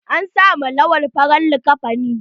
An sa ma Lawan farar liƙafani.